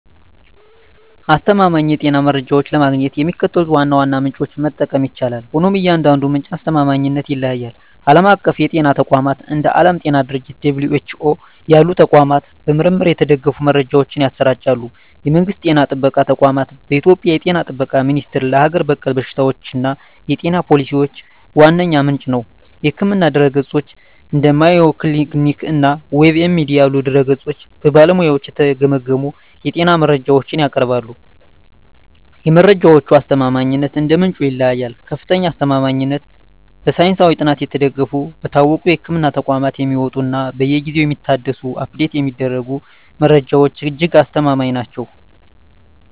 አስተማማኝ የጤና መረጃዎችን ለማግኘት የሚከተሉትን ዋና ዋና ምንጮች መጠቀም ይቻላል፤ ሆኖም የእያንዳንዱ ምንጭ አስተማማኝነት ይለያያል። ዓለም አቀፍ የጤና ተቋማት፦ እንደ ዓለም የጤና ድርጅት (WHO) ያሉ ተቋማት በምርምር የተደገፉ መረጃዎችን ያሰራጫሉ። የመንግስት ጤና ጥበቃ ተቋማት፦ በኢትዮጵያ የ ጤና ጥበቃ ሚኒስቴር ለሀገር በቀል በሽታዎችና የጤና ፖሊሲዎች ዋነኛ ምንጭ ነው። የሕክምና ድረ-ገጾች፦ እንደ Mayo Clinic እና WebMD ያሉ ድረ-ገጾች በባለሙያዎች የተገመገሙ የጤና መረጃዎችን ያቀርባሉ። የመረጃዎቹ አስተማማኝነት እንደ ምንጩ ይለያያል፦ ከፍተኛ አስተማማኝነት፦ በሳይንሳዊ ጥናት የተደገፉ፣ በታወቁ የሕክምና ተቋማት የሚወጡ እና በየጊዜው የሚታደሱ (Update የሚደረጉ) መረጃዎች እጅግ አስተማማኝ ናቸው።